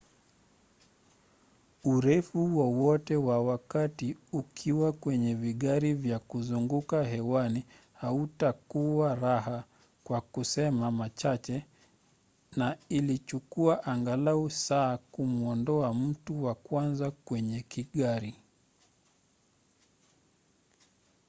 urefu wowote wa wakati ukiwa kwenye vigari vya kuzunguka hewani hautakuwa raha kwa kusema machache na ilichukua angalau saa kumuondoa mtu wa kwanza kwenye kigari.